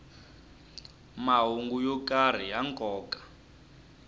mahungu yo karhi ya nkoka